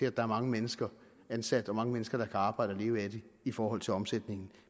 at der er mange mennesker ansat og mange mennesker der kan arbejde og leve af det i forhold til omsætningen